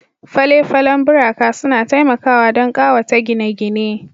Fale-falen buraka suna taimakawa don ƙawata gine-gine